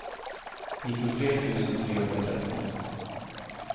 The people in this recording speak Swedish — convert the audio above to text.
nittiotre tusen trehundratretton